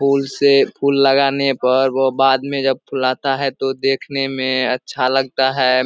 फूल से फूल लगाने पर वो बाद मे जब फूलाता है तो देखने में अच्छा लगता है।